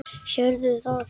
Sérðu það?